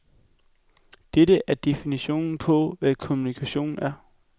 Dette er definitionen på, hvad kommunikation er.